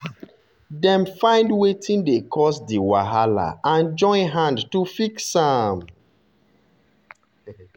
dem find wetin dey cause di wahala and join hand to fix am.